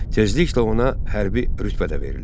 Tezliklə ona hərbi rütbə də verilir.